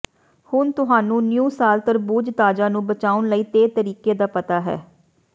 ਹੁਣ ਤੁਹਾਨੂੰ ਨਿਊ ਸਾਲ ਤਰਬੂਜ ਤਾਜ਼ਾ ਨੂੰ ਬਚਾਉਣ ਲਈ ਤੇ ਤਰੀਕੇ ਦਾ ਪਤਾ ਹੈ